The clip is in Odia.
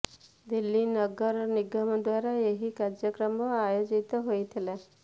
ଦିଲ୍ଲୀ ନଗର ନିଗମ ଦ୍ୱାରା ଏହି କାର୍ଯକ୍ରମ ଆୟୋଜିତ ହୋଇଥିଲା